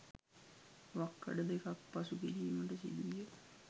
වක්කඩ දෙකක් පසු කිරීමට සිදු විය.